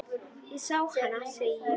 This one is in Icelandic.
Ég sá hana, segi ég.